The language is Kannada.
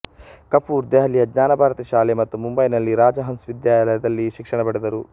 ಕಪೂರ್ ದೆಹಲಿಯ ಜ್ಞಾನಭಾರತಿ ಶಾಲೆ ಮತ್ತು ಮುಂಬೈನಲ್ಲಿ ರಾಜಹನ್ಸ್ ವಿದ್ಯಾಲಯದಲ್ಲಿ ಶಿಕ್ಷಣ ಪಡೆದರು